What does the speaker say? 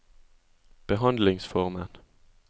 behandlingsformen